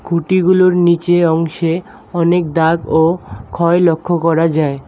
কুটিগুলোর নীচে অংশে অনেক দাগ ও ক্ষয় লক্ষ্য করা যায়।